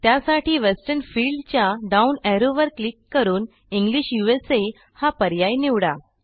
त्यासाठी वेस्टर्न फिल्डच्या down arrow वर क्लिक करून इंग्लिश USAहा पर्याय निवडा